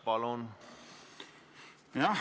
Palun!